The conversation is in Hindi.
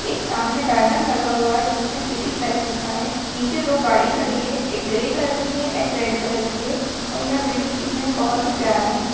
एक सामने बैनर लगा हुआ है। जिसमें सिटी प्लेस लिखा हुआ है। नीचे दो गाड़ी खड़ी हुई है। एक ग्रे कलर की है। एक रेड कलर की है और यह बिल्डिंग दिखने में बहुत ही प्यारा है।